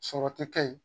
Sɔrɔ ti kɛ yen